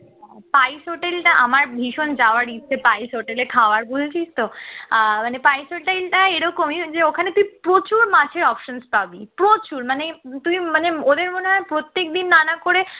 spice hotel টা আমার ভীষণ যাওয়ার ইচ্ছে spice hotel এ খাওয়ার বুঝেছিস তো আহ মানে spice hotel টা এরকমই ওখানে তুই প্রচুর মাছের options পাবি প্রচুর মানে তুই মানে ওদের মনে হয় প্রত্যেকদিন নানা করে